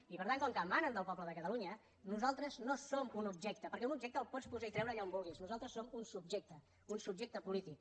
i per tant com que emanen del poble de catalunya nosaltres no som un objecte perquè un objecte el pots posar i treure allà on vulguis nosaltres som un subjecte un subjecte polític